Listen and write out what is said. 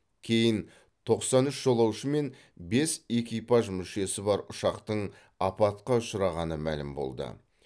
кейін тоқсан үш жолаушы мен бес экипаж мүшесі бар ұшақтың апатқа ұшырағаны мәлім болды